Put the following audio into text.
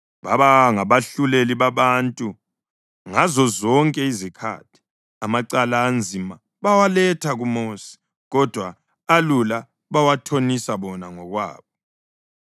Baba ngabahluleli babantu ngazozonke izikhathi. Amacala anzima bawaletha kuMosi, kodwa alula bawathonisa bona ngokwabo.